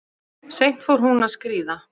Seint fór hún að skríða.